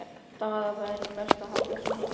Daða væri best að halda sig heima við.